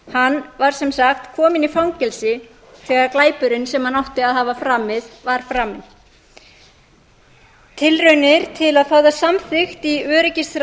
hann var sem sagt kominn í fangelsi þegar glæpurinn sem hann átti að hafa framið var framinn tilraunir til að fá það samþykkt í